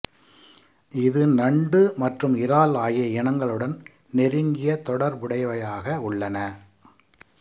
இது நண்டு மற்றும் இறால் ஆகிய இனங்களுடன் நெருங்கிய தொடர்புடையவையாக உள்ளன